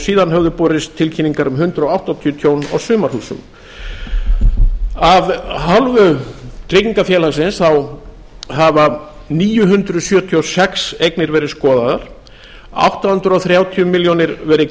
síðan höfðu borist tilkynningar um hundrað áttatíu tjón á sumarhúsum af hálfu tryggingafélagsins hafa níu hundruð sjötíu og sex eignir verið skoðaðar átta hundruð þrjátíu milljónir verið